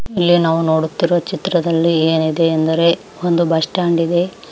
ಇಲ್ಲಿ ನಾವು ನೋಡುತ್ತಿರುವ ಚಿತ್ರದಲ್ಲಿ ಏನಿದೆ ಅಂದರೆ ಒಂದು ಬಸ್ ಸ್ಟಾಂಡ್ ಇದೆ.